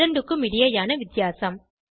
இரண்டுக்கும் இடையேயான வித்தியாசம்